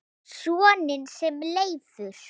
Soninn sem Leifur